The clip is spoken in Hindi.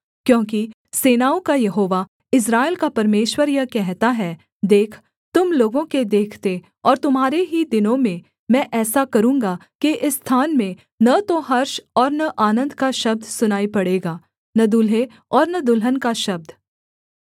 क्योंकि सेनाओं का यहोवा इस्राएल का परमेश्वर यह कहता है देख तुम लोगों के देखते और तुम्हारे ही दिनों में मैं ऐसा करूँगा कि इस स्थान में न तो हर्ष और न आनन्द का शब्द सुनाई पड़ेगा न दुल्हे और न दुल्हन का शब्द